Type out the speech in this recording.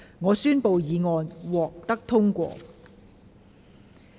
我宣布議案獲得通過。